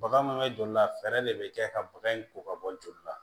Baga mun bɛ joli la fɛɛrɛ de bɛ kɛ ka baga in ko ka bɔ joli la